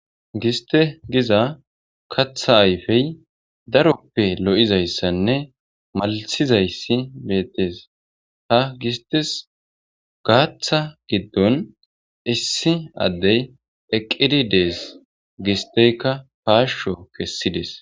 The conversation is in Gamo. giste giza katha ayfey daroppe lo7izayssanne maltizayssi beettes ha gistes gaaththa giddon issi addey eqqidi dees gisteyka paasho kessides